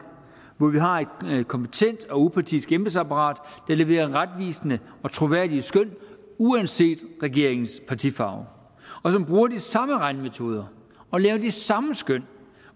hvor vi har et kompetent og upartisk embedsapparat der leverer retvisende og troværdige skøn uanset regeringens partifarve og som bruger de samme regnemetoder og laver de samme skøn